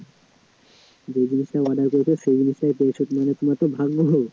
যে জিনিসটা order করেছো সেই জিনিসটাই পেয়েছো তুমি মানে তোমার তো ভাগ্য ভাল~ভালো